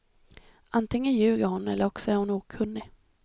Antingen ljuger hon eller också är hon okunnig.